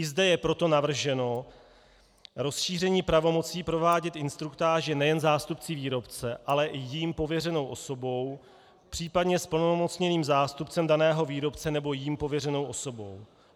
I zde je proto navrženo rozšíření pravomocí provádět instruktáže nejen zástupci výrobce, ale i jím pověřenou osobou, případně zplnomocněným zástupcem daného výrobce nebo jím pověřenou osobou.